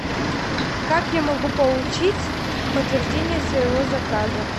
как я могу получить подтверждение своего заказа